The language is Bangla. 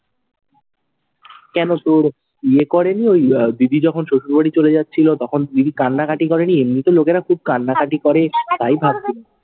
কেন তোর ইয়ে করেনি, ওই আহ দিদি যখন শ্বশুর বাড়ি চলে যাচ্ছিল, তখন দিদি কান্নাকাটি করেনি? এমনিতে লোকেরা খুব কান্নাকাটি করে, তাই ভাবছিলাম।